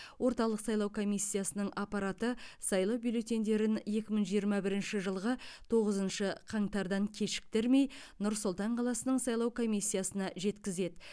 орталық сайлау комиссиясының аппараты сайлау бюллетендерін екі мың жиырма бірінші жылғы тоғызыншы қаңтардан кешіктірмей нұр сұлтан қаласының сайлау комиссиясына жеткізеді